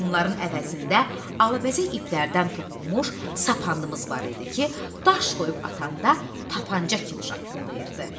Bunların əvəzində alabəzək iplərdən toxunmuş sapandımız var idi ki, daş qoyub atanda tapanca kimi şaqqıldayırdı.